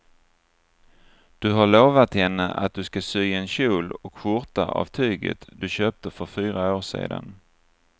Du har lovat henne att du ska sy en kjol och skjorta av tyget du köpte för fyra år sedan.